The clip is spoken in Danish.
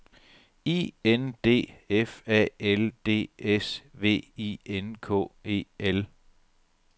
I N D F A L D S V I N K E L